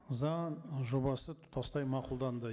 заң ы жобасы тұтастай мақұлданды